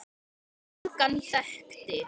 Engan þekkti